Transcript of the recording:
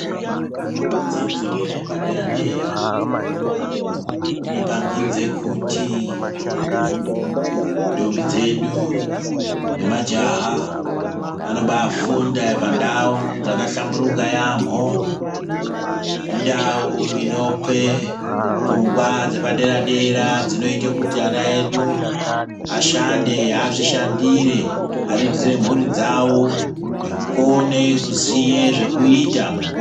Dzidzo yepadera dera inopangidze kuti ntombi dzedu nemajaha anobafunda pandau dzakahlamburula yampho indau inope pfungwa dzepadera dera dzinoite kuti ana edu ashande azvishandire ariritire mhuri dzawo nekukone kuziye zvekuita munguwa..